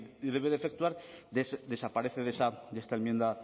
debe de efectuar desaparece de esta enmienda